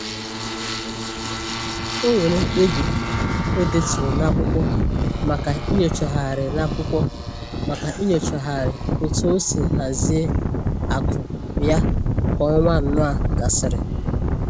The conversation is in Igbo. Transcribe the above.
O nwere mkpebi o deturu n'akwụkwọ maka inyochagharị n'akwụkwọ maka inyochagharị otu o si hazie akụ ya ka ọnwa anọ a gasịrị